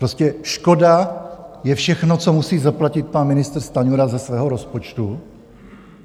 Prostě škoda je všechno, co musí zaplatit pan ministr Stanjura ze svého rozpočtu?